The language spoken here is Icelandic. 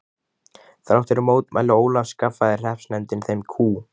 Þrátt fyrir mótmæli Ólafs skaffaði hreppsnefndin þeim kú.